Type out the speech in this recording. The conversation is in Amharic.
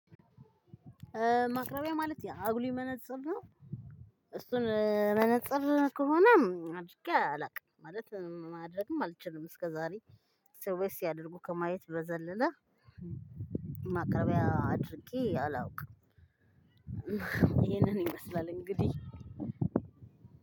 ማቅረቢያ ማለት የአጉሊ መነፅር ነው። እሱን መነፅር ከሆነ አድርጌ አላውቅም ማለት ማድረግም አልችልም እስከ ዛሬ ሰዎች ሲያደርጉ ከማየት በዘለለ። ማቅረቢያ አድርጌ አላውቅም ይሄንን ይመስላል እንግዲህ።